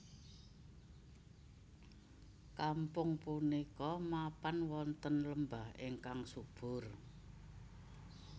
Kampung punika mapan wonten lembah ingkang subur